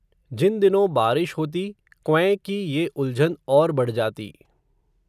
जिन दिनों बारिश होती, क्वैं की ये उलझन, और बढ़ जाती